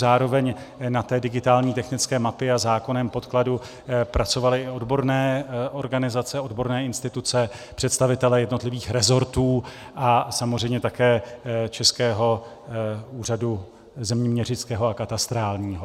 Zároveň na té digitální technické mapě a zákonném podkladu pracovaly i odborné organizace, odborné instituce, představitelé jednotlivých rezortů a samozřejmě také Českého úřadu zeměměřického a katastrálního.